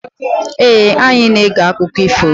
Ee, anyị na-ege akụkọ ifo.